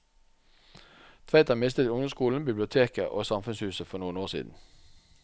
Tveita mistet ungdomsskolen, biblioteket og samfunnshuset for noen år siden.